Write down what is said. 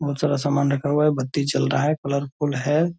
बहुत सारा सामान रखा हुआ है बत्ती जल रहा है कलरफुल है।